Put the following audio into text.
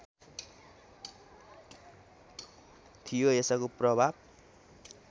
थियो यसको प्रभाव